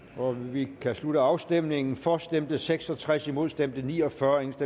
vi kan slutte afstemningen for stemte seks og tres imod stemte ni og fyrre